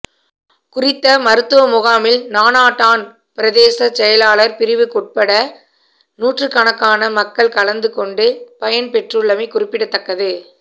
குறித்த மருத்துவமுகாமில் நானாட்டான் பிரதேசச் செயலாளர் பிரிவுக்குற்பட்ட நூற்றுக்கணக்கான மக்கள் கலந்து கொண்டு பயன் பெற்றுள்ளமை குறிப்பிடத்தக்கது